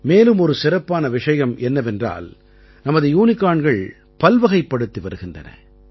மேலும் ஒரு சிறப்பான விஷயம் என்னவென்றால் நமது யூனிகார்ன்கள் பல்வகைப்படுத்தி வருகின்றன